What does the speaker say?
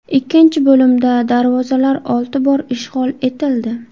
Ikkinchi bo‘limda darvozalar olti bor ishg‘ol etildi.